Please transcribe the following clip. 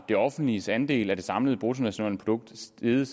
det offentliges andel af det samlede bruttonationalprodukt steget